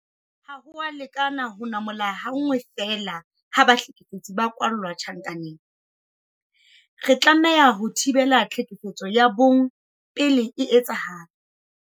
Ha ho a lekana ho namola ha nngwe feela ha bahlekefetsi ba kwalla tjhankaneng. Re tlameha ho thibela tlhekefetso ya bong pele e etsahala.